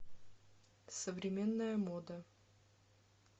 современная мода